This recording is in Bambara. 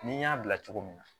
Ni n y'a bila cogo min na